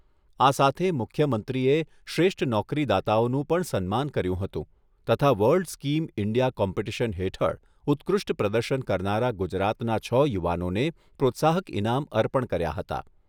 આ સાથે મુખ્યમંત્રીએ શ્રેષ્ઠ નોકરીદાતાઓનું પણ સન્માન કર્યું હતું, તથા વર્લ્ડ સ્કીમ ઇન્ડિયા કોમ્પિટીશન હેઠળ ઉત્કૃષ્ઠ પ્રદર્શન કરનારા ગુજરાતના છ યુવાનોને પ્રોત્સાહક ઇનામ અર્પણ કર્યા હતા.